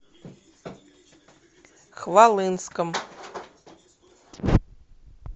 хвалынском